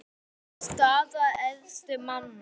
Staða efstu manna